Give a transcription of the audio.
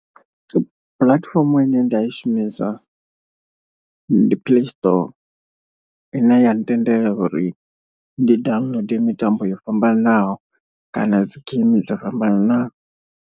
Puḽatifomo ine nda i shumisa ndi play store, ine ya ntendela uri ndi downloader mitambo yo fhambananaho kana dzi game dzo fhambananaho.